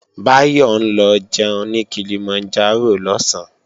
Báyọ̀ ń lọ jẹun ní Kilimanjaro lọ̀sán